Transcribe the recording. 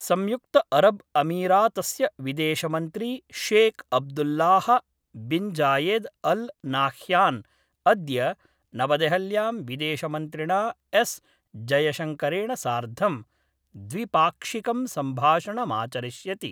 संयुक्तअरब्अमीरातस्य विदेशमन्त्री Sheikh Abdullah bin Zayed Al Nahyan अद्य नवदेहल्यां विदेशमन्त्रिणा एस् जयशंकरेण सार्धं द्विपाक्षिकं सम्भाषणमाचरिष्यति।